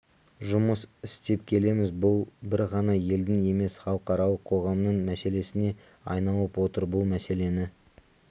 жұмыс істеп келеміз бұл бір ғана елдің емес халықаралық қоғамның мәселесіне айналып отыр бұл мәселені